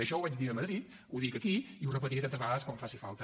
això ho vaig dir a madrid ho dic aquí i ho repetiré tantes vegades com faci falta